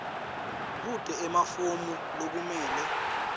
kute emafomu lekumele